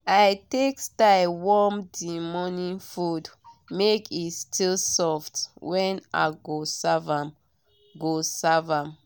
i take style warm the morning food make e still soft when i go serve am." go serve am."